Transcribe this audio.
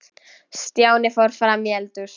Stjáni fór fram í eldhús.